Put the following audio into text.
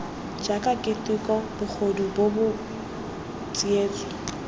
jaaka keteko bogodu bobod tsietso